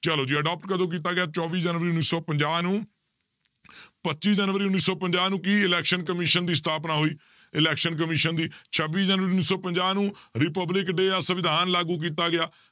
ਚਲੋ ਜੀ adopt ਕਦੋਂ ਕੀਤਾ ਗਿਆ ਚੌਵੀ ਜਨਵਰੀ ਉੱਨੀ ਸੌ ਪੰਜਾਹ ਨੂੰ ਪੱਚੀ ਜਨਵਰੀ ਉੱਨੀ ਸੌ ਪੰਜਾਹ ਨੂੰ ਕੀ election commission ਦੀ ਸਥਾਪਨਾ ਹੋਈ election commission ਦੀ ਛੱਬੀ ਜਨਵਰੀ ਉੱਨੀ ਸੌ ਪੰਜਾਹ ਨੂੰ republic day ਦਾ ਸਵਿਧਾਨ ਲਾਗੂ ਕੀਤਾ ਗਿਆ,